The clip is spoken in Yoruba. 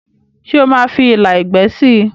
ṣe oma fí ìlà ẹgbẹ sí?